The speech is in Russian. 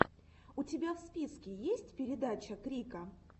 у тебя в списке есть передача крика